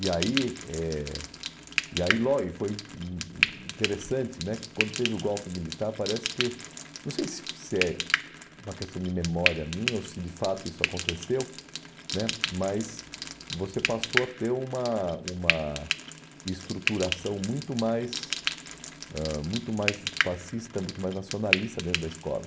E aí eh e ai loi foi hum interessante né que quando teve o golpe militar, parece que, não sei se é uma questão de memória minha ou se de fato isso aconteceu né mas você passou a ter uma uma estruturação muito mais ãh muito mais fascista, muito mais nacionalista dentro da escola.